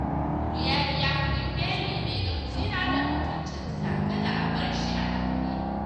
Audu ya biya kuɗin belin ne don tsira da mutuncinsa kada a bar shi a ɗaure